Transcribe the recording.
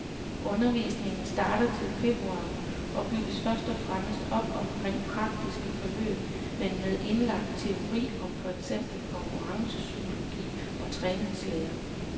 Undervisningen starter til februar og bygges først og fremmest op omkring praktiske forløb, men med indlagt teori om for eksempel konkurrencepsykologi og træningslære.